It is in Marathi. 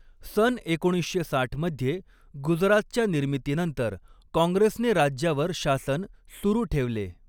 सन एकोणीसशे साठ मध्ये गुजरातच्या निर्मितीनंतर काँग्रेसने राज्यावर शासन सुरू ठेवले.